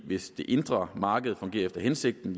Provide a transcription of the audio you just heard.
hvis det indre marked fungerer efter hensigten